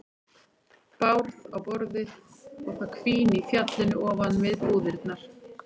Bárð á borðið og það hvín í fjallinu ofan við búðirnar.